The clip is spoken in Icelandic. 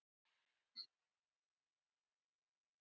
Þessi tilhneiging mun þó hafa byrjað fyrr.